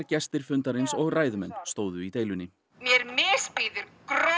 gestir fundarins og ræðumenn stæðu í deilunni mér misbýður